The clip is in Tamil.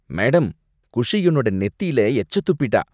மேடம்! குஷி என்னோட நெத்தியில எச்ச துப்பிட்டா.